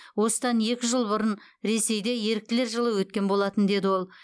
осыдан екі жыл бұрын ресейде еріктілер жылы өткен болатын деді ол